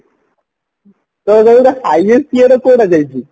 ତୋର ଯୋଉ highest ଇଏଟା କୋଉଟା ଯାଇଚି